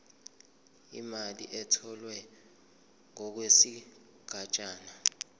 imali etholwe ngokwesigatshana